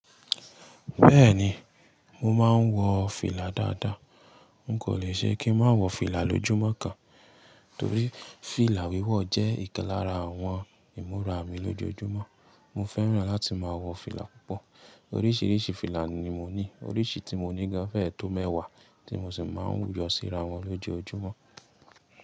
Bẹ́ẹ̀ni, mo máa ń wọ fìlà dáadáa. N kò le ṣe kí n má wọ fìlà lójúmọ́ kan, torí fìlà wíwọ̀ jẹ́ ìkan lárà àwọn ìmúra mi lójoojúmọ́. Mo fẹ́ràn láti máa wọ fìlà púpọ̀. Oríṣiríṣi fìlà ni mo ní, oríṣi tí mo ní gan fẹ́ tó mẹ́wàá tí mo sì máa ń yọ síra wọn lojoojúmọ́.